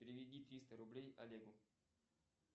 переведи триста рублей олегу